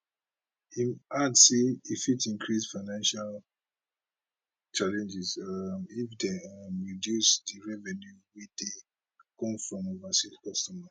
im add say e fit increase financial challenges um if dem um reducing di revenue wey dey come from overseas customers